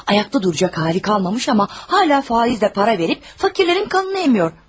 Ayaqda duracaq halı qalmamış, amma hələ də faizlə pul verib fəqirlərin qanını sorur.